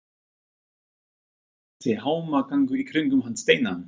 Allur þessi hamagangur í kringum hann Steina!